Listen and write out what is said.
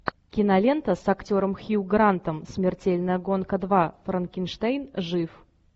кинолента с актером хью грантом смертельная гонка два франкенштейн жив